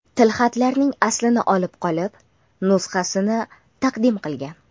tilxatlarning aslini olib qolib, nusxasini taqdim qilgan.